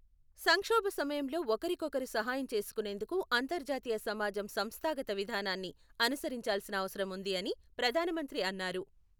సంక్షోభ సమయంలో ఒకరికొకరు సహాయం చేసుకునేందుకు అంతర్జాతీయ సమాజం సంస్థాగత విధానాన్ని అనుసరించాల్సిన అవసరం ఉంది అని ప్రధానమంత్రి అన్నారు.